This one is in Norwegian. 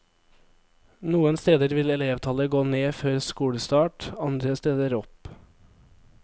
Noen steder vil elevtallet gå ned før skolestart, andre steder opp.